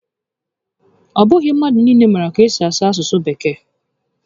Ọ bụghị mmadụ niile maara ka esi asụ asụsụ Bekee